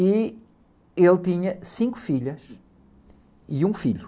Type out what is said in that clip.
E ele tinha cinco filhas e um filho.